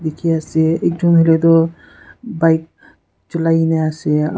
dikhia ase ekjun huile tu bike chulia na ase.